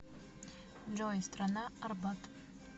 джой страна арбат